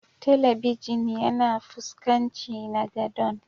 Telibijin yana fuskanci na godon.